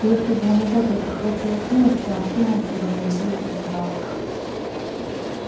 и если бы у него только хватило смелости он кинулся бы на людей и сожрал их